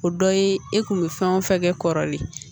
O dɔ ye e kun be fɛn o fɛn kɛ kɔrɔlen